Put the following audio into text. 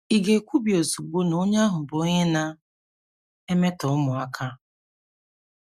Ị̀ ga - ekwubi ozugbo na onye ahụ bụ onye na - emetọ ụmụaka?